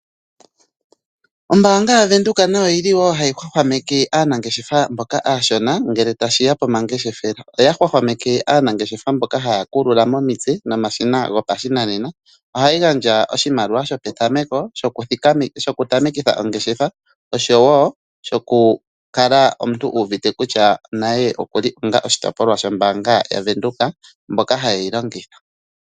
Ombaanga ya bank windhoek , otayi gandja oshimaliwa kaatoti yeengeshefa opo ya vule oku totapo oongeshefa dhawo.